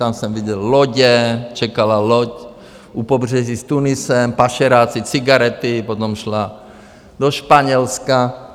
Tam jsem viděl lodě, čekala loď u pobřeží s Tunisem, pašeráci, cigarety, potom šla do Španělska.